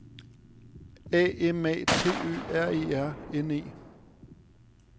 A M A T Ø R E R N E